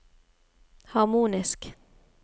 harmonisk